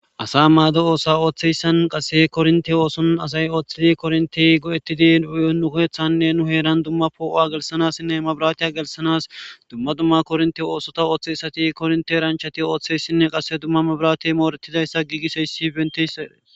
asa maado oosa ooththeyssan qasse kornti ooson asay ooththidi korntey go7ettidi u7 nukoethanne nu heeran dumma poo7oa gelsanassinne mabiratiya gelsanas dumma dumma kornti oosota ooththeysati kornte ranchati ooththeyssinne qasse dumma mabirati mooretidayssa giigisoyssi benteyssee